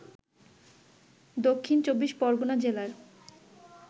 দক্ষিণ চব্বিশ পরগনা জেলায়